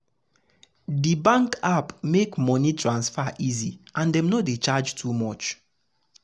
the the bank app make money transfer easy and dem no dey charge too much.